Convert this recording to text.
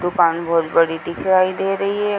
दूकान बोहोत बड़ी दिखाई दे रही है।